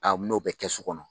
A n'o bɛ kɛ so kɔnɔ